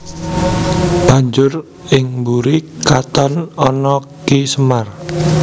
Banjur ing mburi katon ana Ki Semar